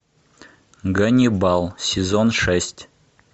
ганнибал сезон шесть